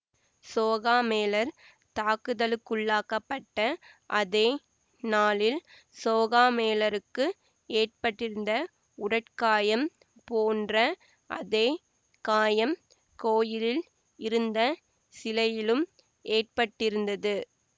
சோகாமேளர் தாக்குதலுக்குள்ளாக்கப்பட்ட அதே நாளில் சோகாமேளருக்கு ஏற்பட்டிருந்த உடற்காயம் போன்ற அதே காயம் கோயிலில் இருந்த சிலையிலும் ஏற்பட்டிருந்தது